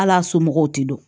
Hal'a somɔgɔw te don